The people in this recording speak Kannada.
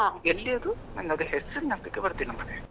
ಎಲ್ಲಿ ಅದು ನಂಗೆ ಅದು ಹೆಸರು ಜ್ಞಾಪಕಕ್ಕೆ ಬರ್ತಾ ಇಲ್ಲಾ ಮರೇ.